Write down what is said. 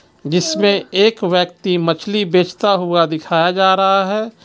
जिसमें एक व्यक्ति मछली बेचता हुआ दिखाया जा रहा है.